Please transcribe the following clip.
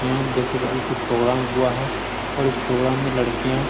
यहाँ हम देख सकते हैं की कुछ प्रोग्राम हुआ है और इस प्रोग्राम में लड़कियाँ --